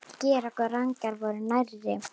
Georg og Ragnar voru nærri.